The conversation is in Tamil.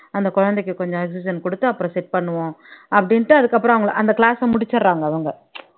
அந்த குழந்தைக்கு கொஞ்சம் oxygen கொடுத்து அப்புறம் set பண்ணுவோம் அப்படின்ட்டு அதுக்கப்புறம் அவங்க அந்த class அ முடிச்சறாங்க அவங்க